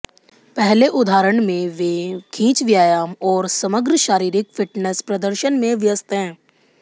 पहले उदाहरण में वे खींच व्यायाम और समग्र शारीरिक फिटनेस प्रदर्शन में व्यस्त हैं